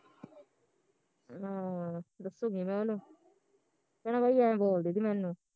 ਅਮ ਦੱਸੂਗੀ ਮੈਂ ਉਹਨੂੰ ਕਹਿਣਾ ਬਾਈ ਐ ਬੋਲਦੀ ਤੀ ਮੈਨੂੰ